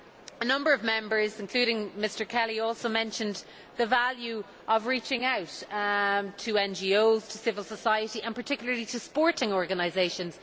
A number of Members, including Mr Kelly, also mentioned the value of reaching out to NGOs, to civil societies and particularly to sporting organisations.